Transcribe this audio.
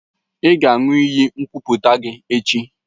Ị ga-aṅụ iyi nkwuputa gị echi!